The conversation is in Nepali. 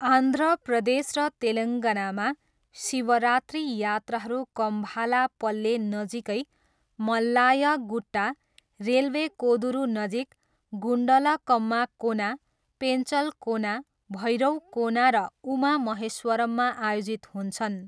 आन्ध्र प्रदेश र तेलङ्गानामा, शिवरात्रि यात्राहरू कम्भालापल्ले नजिकै मल्ल्याय गुट्टा, रेलवे कोदुरुनजिक गुन्डलकम्मा कोना, पेन्चलकोना, भैरवकोना र उमा महेश्वरममा आयोजित हुन्छन्।